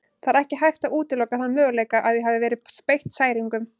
Það er ekki hægt að útiloka þann möguleika að ég hafi verið beitt særingum.